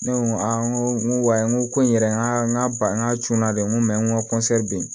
Ne ko a n ko n ko wayi n ko ko n yɛrɛ n ka n ka n ka cun n na dɛ n ko n ko